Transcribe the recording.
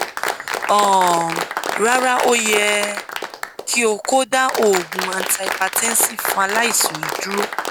um rara o yẹ ki o ko da oogun antihypertensive fun alaisan yii duro